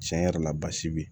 Tiɲɛ yɛrɛ la basi bɛ